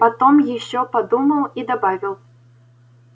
потом ещё подумал и добавил